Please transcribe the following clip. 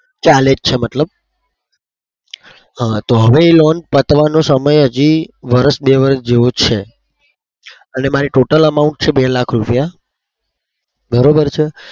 ચાલે જ છે મતલબ. હા તો હવે એ loan પતવાનો સમય હજી વર્ષ બે વર્ષ જેવો છે. એટલે મારે total amount છે. બે લાખ રૂપિયા બરોબર છે.